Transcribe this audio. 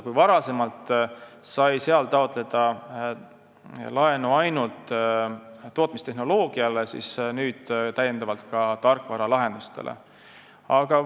Kui varem sai sealt raha taotleda ainult tootmistehnoloogiale, siis nüüd saab ka tarkvaralahendustele.